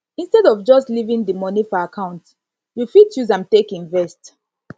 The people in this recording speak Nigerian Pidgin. instead of just leaving di money for account you fit use am take invest